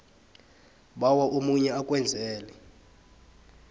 bawa omunye akwenzele